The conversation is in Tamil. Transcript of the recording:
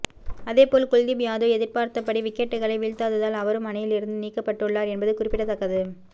அதேபோல் குல்தீப் யாதவ் எதிர்பார்த்தபடி விக்கெட்டுக்களை வீழ்த்தாததால் அவரும் அணியில் இருந்து நீக்கப்பட்டுள்ளார் என்பது குறிப்பிடத்தக்கது